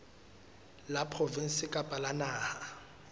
la provinse kapa la naha